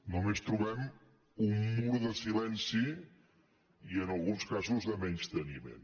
només trobem un mur de silenci i en alguns casos de menysteniment